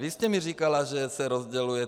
Vy jste mi říkala, že se rozděluje.